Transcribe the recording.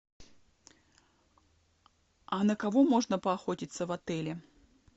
а на кого можно поохотиться в отеле